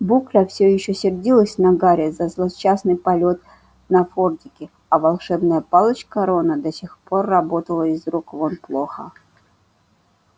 букля все ещё сердилась на гарри за злосчастный полет на фордике а волшебная палочка рона до сих пор работала из рук вон плохо